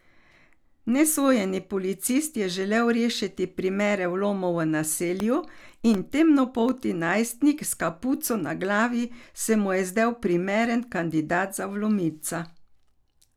Nesojeni policist je želel rešiti primere vlomov v naselju in temnopolti najstnik s kapuco na glavi se mu je zdel primeren kandidat za vlomilca.